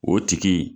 O tigi